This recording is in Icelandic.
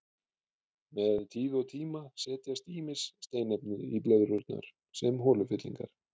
Með tíð og tíma setjast ýmis steinefni í blöðrurnar sem holufyllingar.